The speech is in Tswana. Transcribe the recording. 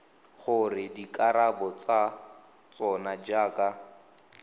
gore dikarabo tsa tsona jaaka